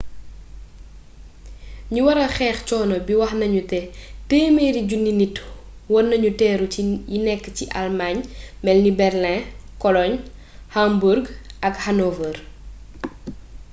ñu waral xeex cono bi wax nuñu né téeméeri juniy 100 000 nitt weur nañu teru yi nekk ci almaañ melni berlin cologne hamburg ak hanover